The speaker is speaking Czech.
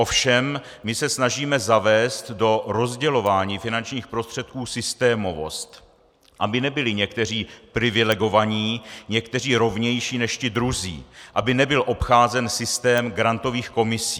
Ovšem my se snažíme zavést do rozdělování finančních prostředků systémovost, aby nebyli někteří privilegovaní, někteří rovnější než ti druzí, aby nebyl obcházen systém grantových komisí.